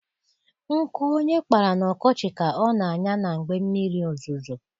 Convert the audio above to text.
Nkụ onye kpara n'ọkọchị ka ọ na-anya na mgbe mmiri ozuzo